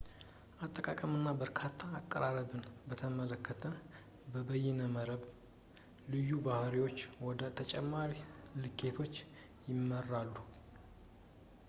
የአጠቃቀም እና እርካታ አቀራረብን በተመለከተ የበይነመረብ ልዩ ባህሪዎች ወደ ተጨማሪ ልኬቶች ይመራሉ